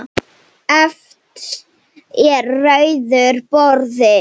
Efst er rauður borði.